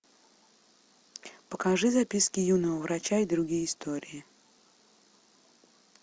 покажи записки юного врача и другие истории